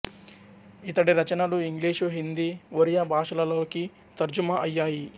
ఇతడి రచనలు ఇంగ్లీషు హిందీ ఒరియా భాషలలోకి తర్జుమా అయ్యాయి